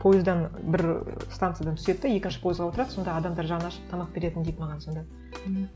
пойыздан бір станциядан түседі де екінші пойызға отырады сонда адамдар жаны ашып тамақ беретін дейді маған сонда мхм